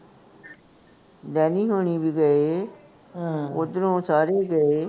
ਵੈਨੀ ਹੋਣੀ ਵੀ ਗਏ, ਓਧਰੋਂ ਸਾਰੇ ਗਏ